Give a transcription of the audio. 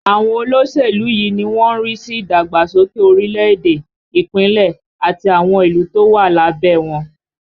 Àwọn olóṣèlú yìí ni wọ́n ń rí sí ìdàgbàsókè orílẹ̀ èdè, Ìpínlẹ̀, àti àwọn ìlú tó wà lábẹ́ ẹ wọn